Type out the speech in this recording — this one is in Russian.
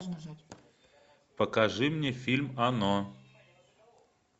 покажи мне фильм оно